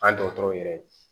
An dɔgɔtɔrɔw yɛrɛ